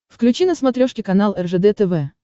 включи на смотрешке канал ржд тв